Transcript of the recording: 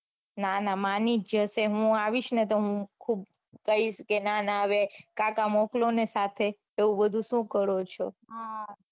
ના ના માની જ જાશે હું આવીસને તો હું ખુબ કૈસ કે ના ના હવે કાકા મોકલોને સાથે તે એવું બધું સુ કરો છો.